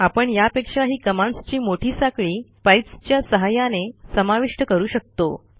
आपण यापेक्षाही कमांडस् ची मोठी साखळी पाइप्स च्या सहाय्याने समाविष्ट करू शकतो